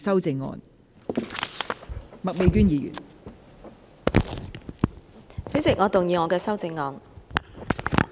代理主席，我動議我的修正案。